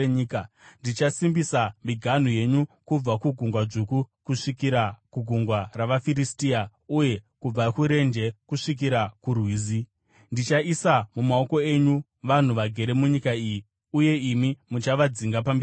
“Ndichasimbisa miganhu yenyu kubva kuGungwa Dzvuku kusvikira kuGungwa ravaFiristia, uye kubva kuRenje kusvikira kuRwizi. Ndichaisa mumaoko enyu vanhu vagere munyika iyi uye imi muchavadzinga pamberi penyu.